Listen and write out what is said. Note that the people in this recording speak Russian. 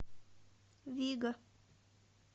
виго